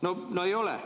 No ei ole ju!